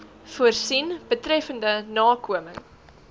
voorsien betreffende nakoming